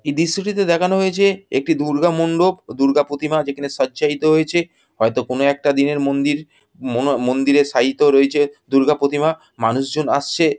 এই দৃশ্যটিতে দেখানো হয়েছে একটি দূর্গা মণ্ডপ ও দূর্গা প্রতিমা যেখানে সজ্জায়িত হয়েছে হয়তো কোনো একটা দিনের মন্দির মনো মন্দিরে সাইতো রয়েছে দূর্গা প্রতিমা । মানুষজন আসছে।